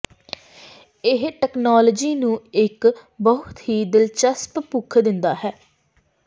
ਇਹ ਤਕਨਾਲੋਜੀ ਨੂੰ ਇੱਕ ਬਹੁਤ ਹੀ ਦਿਲਚਸਪ ਭੁੱਖ ਦਿੰਦਾ ਹੈ